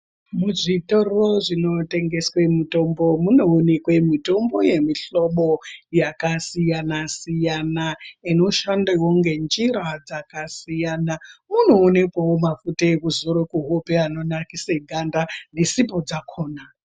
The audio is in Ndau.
Muzvitoro zvinotengeswe mitombo munoonekwe mitombo yemihlobo yakasiyana siyana inoshandawo ngenjira dzakasiyana kunoonekwawo mafuta ekuzora kuhope anonakise ganda nesipo dzakona.